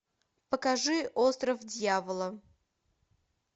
покажи остров дьявола